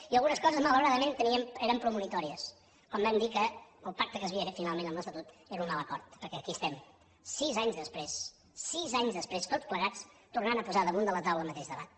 i algunes coses malauradament eren premonitòries quan vam dir que el pacte que s’havia fet finalment amb l’estatut era un mal acord perquè aquí estem sis anys després sis anys després tots plegats tornant a posar damunt la taula el mateix debat